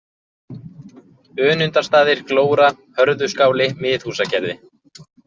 Önundarstaðir, Glóra, Hörðuskáli, Miðhúsagerði